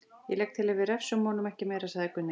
Ég legg til að við refsum honum ekki meira, sagði Gunni.